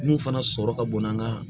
Mun fana sɔrɔ ka bon n'a ka